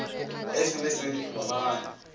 ge se be se robagana